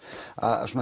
að